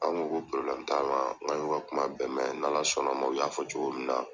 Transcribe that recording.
An ko ko t'an ma n k'an y'u ka kuma bɛɛ mɛn n'Ala sɔn n'a ma o y'a fɔ cogo min na.